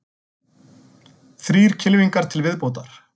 Þrír kylfingar til viðbótar